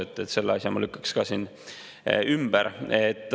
Nii et selle asja ma lükkaks ka siin ümber.